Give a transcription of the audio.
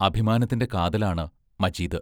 അഭിമാനത്തിന്റെ കാതലാണ് മജീദ്.